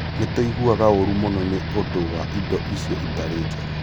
Nĩ tũiguaga ũũru mũno nĩ ũndũ wa indo icio itarĩ njega.